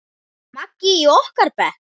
Maggi í okkar bekk?